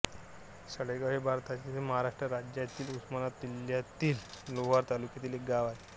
साळेगाव हे भारताच्या महाराष्ट्र राज्यातील उस्मानाबाद जिल्ह्यातील लोहारा तालुक्यातील एक गाव आहे